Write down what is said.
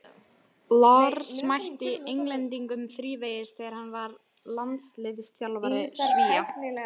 Lars mætti Englendingum þrívegis þegar hann var landsliðsþjálfari Svía.